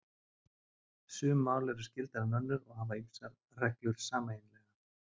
Sum mál eru skyldari en önnur og hafa ýmsar reglur sameiginlegar.